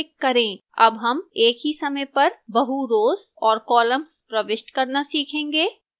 अब हम एक ही समय पर बहु rows और columns प्रविष्ट करना सीखेंगे